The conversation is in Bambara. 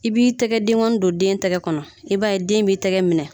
I b'i tɛgɛdenkɔni don den tɛgɛ kɔnɔ i b'a den b'i tɛgɛ minɛ